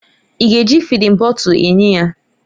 Ị ga-eji fịdin bọtul enye ya?